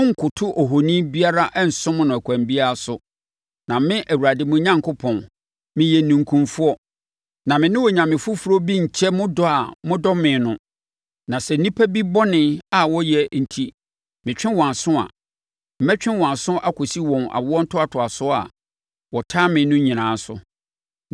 Monnkoto ohoni biara nsom no ɛkwan biara so, na me, Awurade mo Onyankopɔn, meyɛ ninkunfoɔ. Na me ne onyame foforɔ bi nkyɛ mo dɔ a modɔ me no. Na sɛ nnipa bi bɔne a wayɛ enti metwe wɔn aso a, metwe wɔn aso kɔsi wɔn awontoatoasoɔ a wɔtan me no nyinaa so.